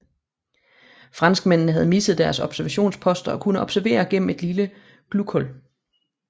Franskmændene havde mistet deres observationsposter og kunne observere gennem et lille glughul